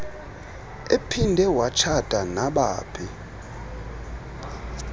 ephinde watshata nabaphi